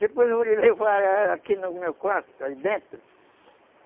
Depois eu vou lhe levar aqui no meu quarto, aí dentro.